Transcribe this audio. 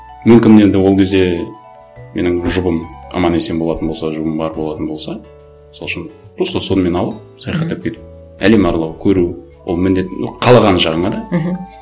мүмкін енді ол кезде менің жұбым аман есен болатын болса жұбым бар болатын болса мысал үшін просто сонымен алып саяхаттап кетіп әлем аралау көру ол міндет ну қалаған жағыңа да мхм